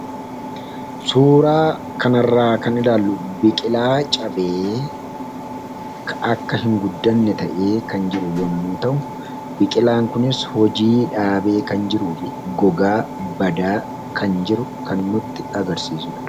Suuraa kanarraa kan ilaallu biqilaa cabee akka hin guddanne ta'e kan jiru yommuu ta'u biqilaan kunis hojii dhaabee kan jiru fi gogaa badaa kan jiru kan nutti agarsiisudha.